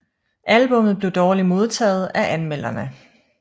Albummet blev dårligt modtaget af anmelderne